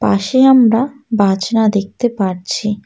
পাশে আমরা বাজনা দেখতে পারছি।